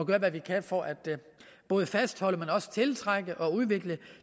gøre hvad vi kan for både at fastholde og tiltrække og udvikle